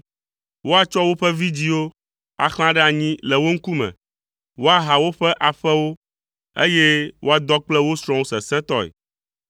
Woatsɔ woƒe vidzĩwo axlã ɖe anyi le wo ŋkume. Woaha woƒe aƒewo, eye woadɔ kple wo srɔ̃wo sesẽtɔe.